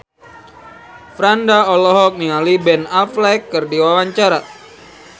Franda olohok ningali Ben Affleck keur diwawancara